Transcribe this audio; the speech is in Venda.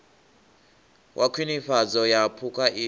wa khwinifhadzo ya phukha i